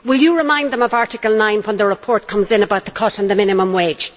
Will you remind them of Article 9 when the report comes in about the cut in the minimum wage?